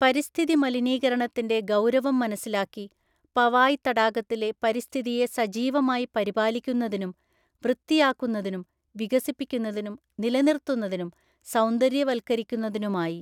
പരിസ്ഥിതി മലിനീകരണത്തിന്റെ ഗൗരവം മനസിലാക്കി പവായ് തടാകത്തിലെ പരിസ്ഥിതിയെ സജീവമായി പരിപാലിക്കുന്നതിനും വൃത്തിയാക്കുന്നതിനും വികസിപ്പിക്കുന്നതിനും നിലനിർത്തുന്നതിനും സൗന്ദര്യവൽക്കരിക്കുന്നതിനുമായി